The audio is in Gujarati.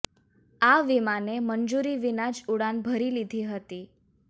આ વિમાને મંજૂરી વિના જ ઉડાણ ભરી લીધી હતી